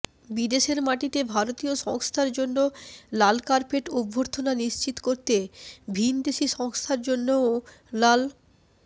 বিদেশের মাটিতে ভারতীয় সংস্থার জন্য লাল কার্পেট অভ্যর্থনা নিশ্চিত করতে ভিন্ দেশি সংস্থার জন্যও লাল